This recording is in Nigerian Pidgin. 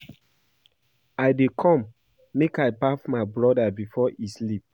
I dey come make I baff my broda before e sleep